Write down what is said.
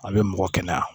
A bɛ mɔgɔ kɛnɛya